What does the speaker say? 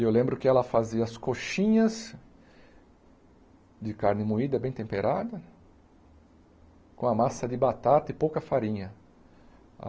E eu lembro que ela fazia as coxinhas de carne moída bem temperada, com a massa de batata e pouca farinha.